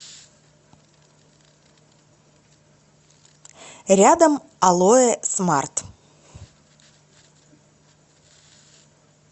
рядом алоэ смарт